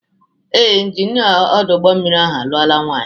Ee, Injinia ọdụ ụgbọmmiri ahụ alụọla nwanyị.